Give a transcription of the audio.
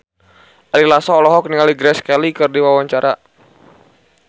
Ari Lasso olohok ningali Grace Kelly keur diwawancara